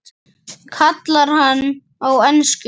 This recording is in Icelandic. kallar hann á ensku.